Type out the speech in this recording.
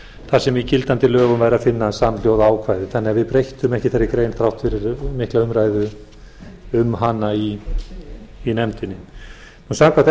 þar sem í gildandi lögum væri að finna samhljóða ákvæði þannig að við breyttum ekki þeirri grein þrátt fyrir mikla umræðu um hana í nefndinni en samkvæmt